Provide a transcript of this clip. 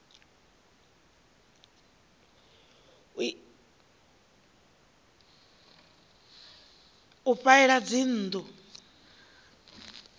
u ifha ela dzinnḓu a